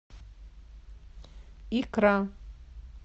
икра